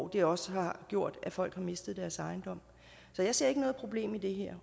det har også gjort at folk har mistet deres ejendom så jeg ser ikke noget problem i det her